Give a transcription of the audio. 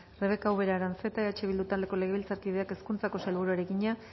rebeka ubera aranzeta eh bildu taldeko legebiltzarkideak hezkuntzako sailburuari egina